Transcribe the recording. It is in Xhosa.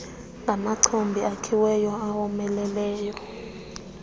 ngamachobi akhiweyo awomeleleyo